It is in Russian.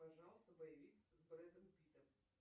пожалуйста боевик с брэдом питтом